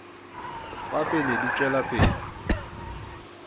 wa pele di tšwela pele